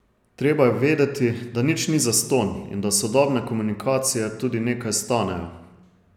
Treba je vedeti, da nič ni zastonj in da sodobne komunikacije tudi nekaj stanejo.